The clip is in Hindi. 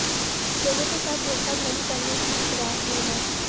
लोगों के साथ धोखाधड़ी करने की फिराक में हैं